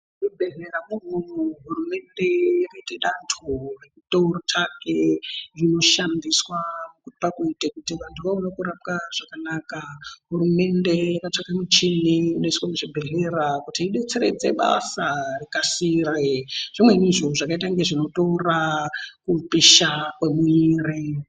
Muzvibhedhleya mwona imwomwo hurumende inoite dando rekutsvake michina inoshandiswa pakuita kuti vantu vaone kurapwa zvakanaka, hurumende yakatsvake michini inoiswe muzvibhedhleya kuti idetseredze basa rikasire zvimweni zviro zvakaita kunge zvinotora kupisha kwemuwiri.